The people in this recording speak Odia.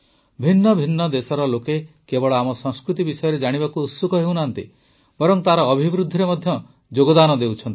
ଭିନ୍ନ ଭିନ୍ନ ଦେଶର ଲୋକ କେବଳ ଆମ ସଂସ୍କୃତି ବିଷୟରେ ଜାଣିବାକୁ ଉତ୍ସୁକ ହେଉନାହାନ୍ତି ବରଂ ତାର ଅଭିବୃଦ୍ଧିରେ ମଧ୍ୟ ଯୋଗଦାନ ଦେଉଛନ୍ତି